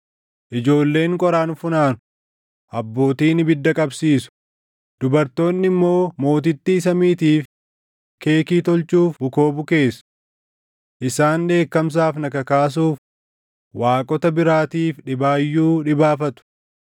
Ijoolleen qoraan funaanu; abbootiin ibidda qabsiisu; dubartoonni immoo Mootittii Samiitiif keekii tolchuuf bukoo bukeessu. Isaan dheekkamsaaf na kakaasuuf waaqota biraatiif dhibaayyuu dhibaafatu.